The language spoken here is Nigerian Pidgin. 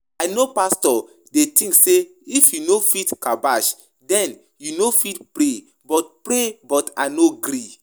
I know pastor dey think say if you no fit kabbash den you no fit pray but pray but I no agree